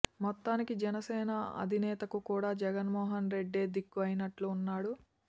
మొత్తానికి జనసేన అధినేతకు కూడా జగన్ మోహన్ రెడ్డే దిక్కు అయినట్టుగా ఉన్నాడు